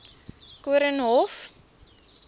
koornhof